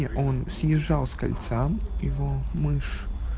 и он съезжал с кольца его мышь